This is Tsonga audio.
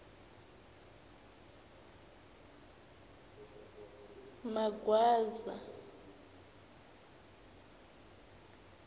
magwaza